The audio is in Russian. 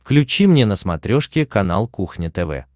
включи мне на смотрешке канал кухня тв